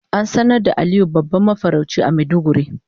An sanar da Aliyu babban mafarauci a maiduguri.